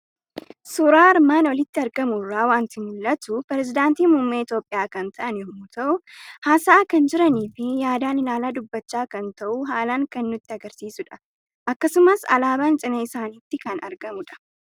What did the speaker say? Suuraa armaan olitti argamu irraa waanti mul'atu; peresedanti muummmee Itoophiyaa kan ta'an yommuu ta'u, haasa'a kan jiranifi yaadan ilaala dubbachaa kan ta'uu haalan kan nutti agarsiisudha. Akkasumas alaaban cina isaanitti kan argamudha.